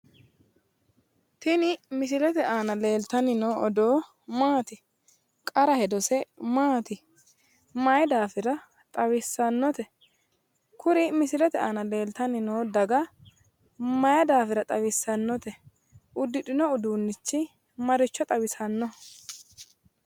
Tini misilete aana leeltanni noo odoo maati? Qara hedose maati? Mayi daafira xawissannote? Kuri misilete aana leeltanni noo daga mayi daafira xawissannote? Uddidhinno uduunnichi maricho xawisannoho?